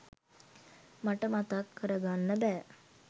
මට මතක් කර ගන්න බෑ.